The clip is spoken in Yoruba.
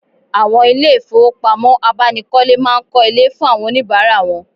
Awon ile ifowopamo abanikole maa n ko ile fun awon onibara won